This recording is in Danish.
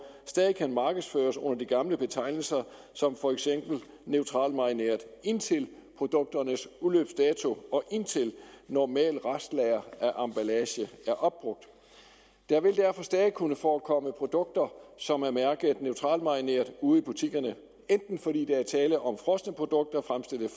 stadig kan markedsføres under de gamle betegnelser som for eksempel neutralmarineret indtil produkternes udløbsdato og indtil normalt restlager af emballage er opbrugt der vil derfor stadig kunne forekomme produkter som er mærket neutralmarineret ude i butikkerne enten fordi der er tale om frosne produkter fremstillet